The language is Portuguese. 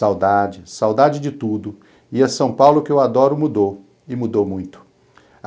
Saudade, saudade de tudo, e a São Paulo que eu adoro mudou, e mudou muito.